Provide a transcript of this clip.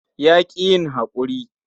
Ya ƙi yin haƙuri.